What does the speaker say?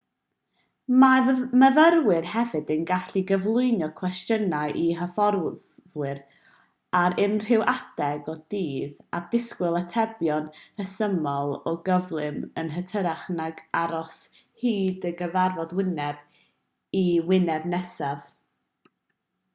mae myfyrwyr hefyd yn gallu cyflwyno cwestiynau i hyfforddwyr ar unrhyw adeg o'r dydd a disgwyl atebion rhesymol o gyflym yn hytrach nag aros hyd y cyfarfod wyneb i wyneb nesaf